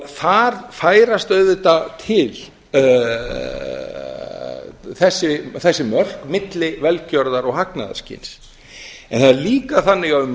þar færast auðvitað til þessi mörk milli velgjörðar og hagnaðarskyns en það er líka þannig að um